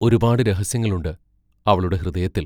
ഒരുപാടു രഹസ്യങ്ങളുണ്ട്, അവളുടെ ഹൃദയത്തിൽ.